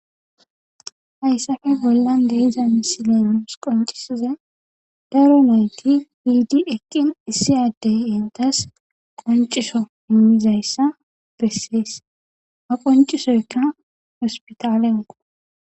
Hayssafe bollan deiza misilenuus qoncisize darunoyti hiidi eqqin issi addey intas qonciso immizayssa bessees ha qoncisoyka hospitaalenko.